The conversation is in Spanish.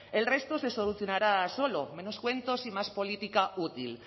el resto se solucionará solo menos cuentos y más política útil